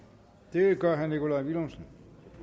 det gør herre nikolaj villumsen